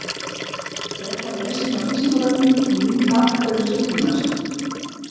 Frekara lesefni á Vísindavefnum og mynd Af hverju signir maður sig?